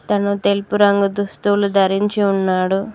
అతను తెలుపు రంగు దుస్తులు ధరించి ఉన్నాడు.